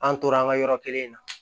An tora an ka yɔrɔ kelen na